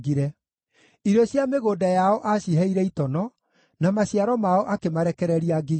Irio cia mĩgũnda yao aaciheire itono, na maciaro mao akĩmarekereria ngigĩ.